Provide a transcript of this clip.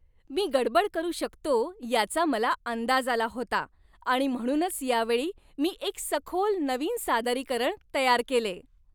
मी गडबड करू शकतो याचा मला अंदाज आला होता आणि म्हणूनच यावेळी मी एक सखोल नवीन सादरीकरण तयार केले.